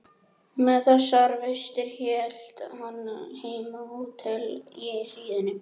Hann horfði á selkópinn sem vældi aumlega.